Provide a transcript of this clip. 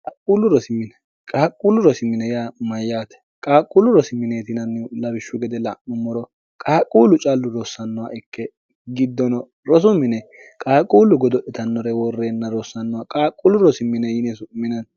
qaaqquullu rosimine yaa mayyaate qaaqquullu rosiminee tinannih labishshu gede la'mummoro qaaqquullu callu rossannoha ikke giddono rosu mine qaaqquullu godo'letannore woorreenna rossannoha qaaqquullu rosi mine yine su'minanni